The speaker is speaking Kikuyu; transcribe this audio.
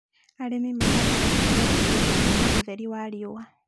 Arĩmi mahandaga terere kũndũ kwĩna ũtheri wa riũa